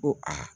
Ko aa